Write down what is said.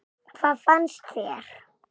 Hvað fannst þér?